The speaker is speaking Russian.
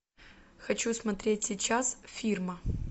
хочу смотреть сейчас фирма